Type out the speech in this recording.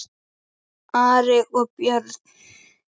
Ari og Björn!